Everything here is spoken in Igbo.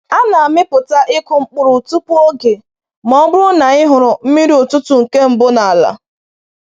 A na‑amịpụta ịkụ mkpụrụ tupu oge ma ọ bụrụ na anyị hụrụ mmiri ụtụtụ nke mbụ n’ala